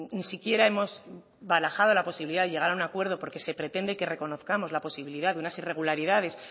ni siquiera hemos barajado la posibilidad de llegar a un acuerdo porque se pretende que reconozcamos la posibilidad de unas irregularidades